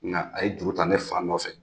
Nka a ye juru tan ne fa nɔfɛ